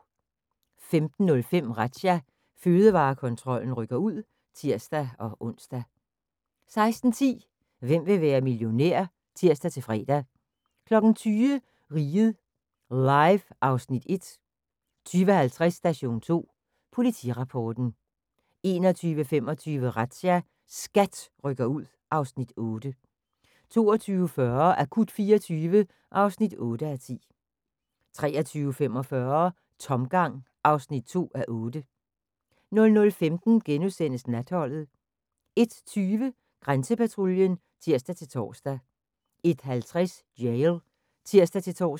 15:05: Razzia – Fødevarekontrollen rykker ud (tir-ons) 16:10: Hvem vil være millionær? (tir-fre) 20:00: Riget Live (Afs. 1) 20:50: Station 2 Politirapporten 21:25: Razzia – SKAT rykker ud (Afs. 8) 22:40: Akut 24 (8:10) 23:45: Tomgang (2:8) 00:15: Natholdet * 01:20: Grænsepatruljen (tir-tor) 01:50: Jail (tir-tor)